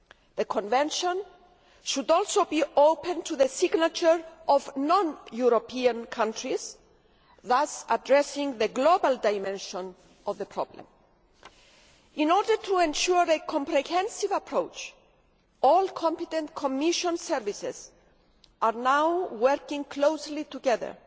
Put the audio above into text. The Convention should also be open for signature by non European countries, thus addressing the global dimension of the problem. In order to ensure a comprehensive approach, all competent Commission services are now working closely together